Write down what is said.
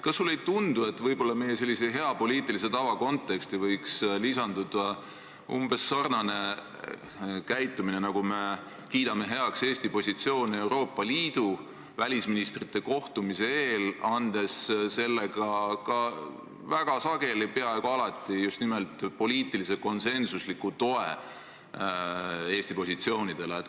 Kas sulle ei tundu, et võib-olla võiks meie hea poliitilise tava konteksti lisanduda umbes sarnane käitumine nagu siis, kui kiidame heaks Eesti positsioone Euroopa Liidu välisministrite kohtumise eel, andes sellega väga sageli, peaaegu alati just nimelt poliitilise konsensusliku toe Eesti positsioonidele?